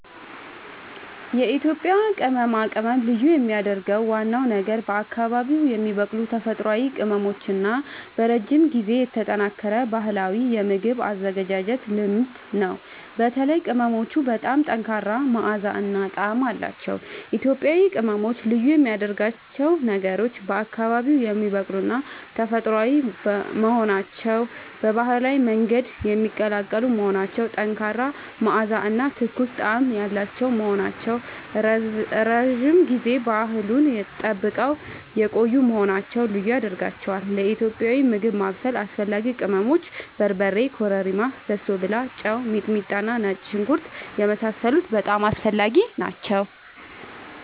የኢትዮጵያ ቅመማ ቅመም ልዩ የሚያደርገው ዋናው ነገር በአካባቢዉ የሚበቅሉ ተፈጥሯዊ ቅመሞች እና በረጅም ጊዜ የተጠናከረ ባህላዊ የምግብ አዘገጃጀት ልምድ ነው። በተለይም ቅመሞቹ በጣም ጠንካራ መዓዛ እና ጣዕም አላቸዉ። ኢትዮጵያዊ ቅመሞች ልዩ የሚያደርጋቸው ነገሮች፦ በአካባቢዉ የሚበቅሉና ተፈጥሯዊ መሆናቸዉ፣ በባህላዊ መንገድ የሚቀላቀሉ መሆናቸዉ፣ ጠንካራ መዓዛ እና ትኩስ ጣዕም ያላቸዉ መሆናቸዉ፣ ረዥም ጊዜ ባህሉን ጠብቀዉ የቆዪ መሆናቸዉ ልዪ ያደርጋቸዋል። ለኢትዮጵያዊ ምግብ ማብሰል አስፈላጊ ቅመሞች፦ በርበሬ፣ ኮረሪማ፣ በሶብላ፣ ጨዉ፣ ሚጥሚጣና ነጭ ሽንኩርት የመሳሰሉት በጣም አስፈላጊ ናቸዉ